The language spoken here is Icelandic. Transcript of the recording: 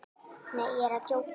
Nei, ég er að djóka.